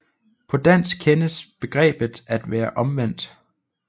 På dansk kendes begrebet at være omvendt